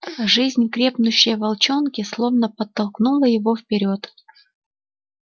жизнь крепнущая в волчонке словно подтолкнула его вперёд